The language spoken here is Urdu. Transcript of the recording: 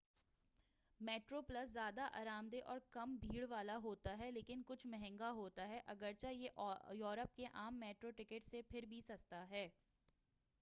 میٹرو پلس زیادہ آرام دہ اور کم بھیڑ والا ہوتا ہے لیکن کچھ مہنگا ہوتا ہے اگرچہ یہ یورپ کے عام میٹرو ٹکٹ سے پھر بھی سستا ہے